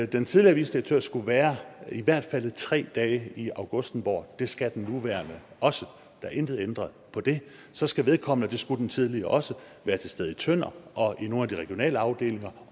den tidligere vicedirektør skulle være i hvert fald i tre dage i augustenborg det skal den nuværende også der er intet ændret på det så skal vedkommende det skulle den tidligere også være til stede i tønder og i nogle af de regionale afdelinger